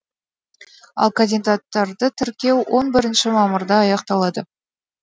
ал кандидаттарды тіркеу он бірінші мамырда аяқталады